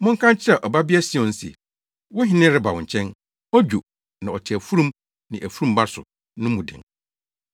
“Monka nkyerɛ Ɔbabea Sion se wo hene reba wo nkyɛn. Odwo, na ɔte afurum ne afurum ba so” no mu den.